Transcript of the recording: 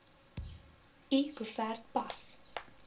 l koevert pas